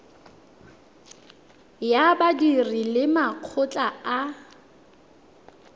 ya badiri le makgotla a